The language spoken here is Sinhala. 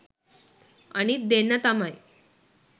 අනිත් දෙන්නා තමයි